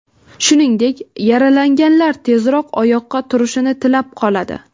Shuningdek, yaralanganlar tezroq oyoqqa turishini tilab qoladi.